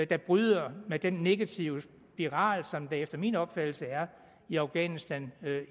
der bryder med den negative spiral som der efter min opfattelse er i afghanistan